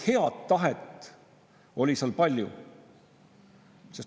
Head tahet oli palju.